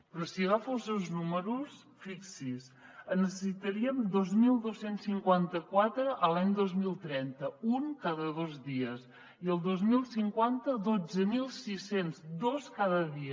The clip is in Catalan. però sí agafo els seus números fixi s’hi en necessitaríem dos mil dos cents i cinquanta quatre l’any dos mil trenta un cada dos dies i el dos mil cinquanta dotze mil sis cents dos cada dia